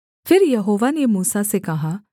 फिर यहोवा ने मूसा से कहा